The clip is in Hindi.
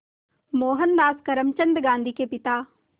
मोहनदास करमचंद गांधी के पिता